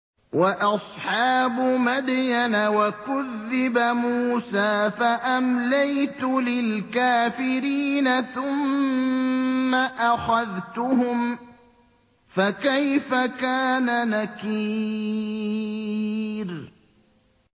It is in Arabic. وَأَصْحَابُ مَدْيَنَ ۖ وَكُذِّبَ مُوسَىٰ فَأَمْلَيْتُ لِلْكَافِرِينَ ثُمَّ أَخَذْتُهُمْ ۖ فَكَيْفَ كَانَ نَكِيرِ